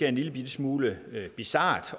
en lillebitte smule bizart